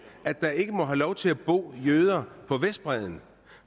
at der ikke må have lov til at bo jøder på vestbredden